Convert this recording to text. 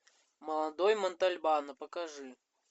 молодой монтальбано покажи